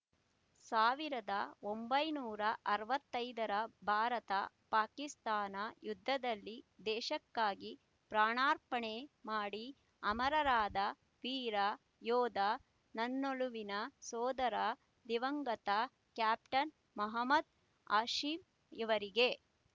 ಸಾವಿರದ ಒಂಬೈನೂರ ಅರವತ್ತೈದರ ಭಾರತ ಪಾಕಿಸ್ತಾನ ಯುದ್ಧದಲ್ಲಿ ದೇಶಕ್ಕಾಗಿ ಪ್ರಾಣಾರ್ಪಣೆ ಮಾಡಿ ಅಮರರಾದ ವೀರ ಯೋಧ ನನ್ನೊಲವಿನ ಸೋದರ ದಿವಂಗತ ಕ್ಯಾಪ್ಟನ್ ಮಹಮ್ಮದ್ ಹಾಶಿಂ ಇವರಿಗೆ